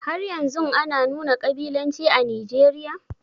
Haryanzun ana nuna ƙabilanci a Nijeriya?